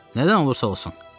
Nədən olursa olsun.